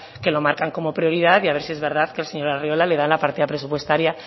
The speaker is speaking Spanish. que lo marcan como prioridad y a ver si es verdad que el señor arriola le da la partida presupuestaria